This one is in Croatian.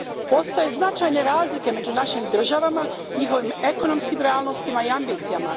Postoje značajne razlike među našim državama, njihovim ekonomskim realnostima i ambicijama.